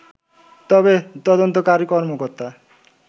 তবে তদন্তকারী কর্মকর্তা